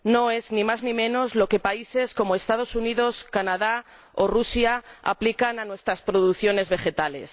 Es ni más ni menos lo que países como los Estados Unidos, Canadá o Rusia aplican a nuestras producciones vegetales.